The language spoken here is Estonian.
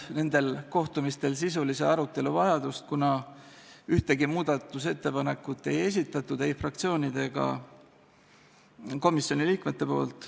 Nendel kohtumistel ei tekkinud sisulise arutelu vajadust, kuna ühtegi muudatusettepanekut ei esitanud ei fraktsioonid ega komisjoni liikmed.